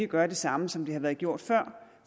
gøre det samme som det har været gjort før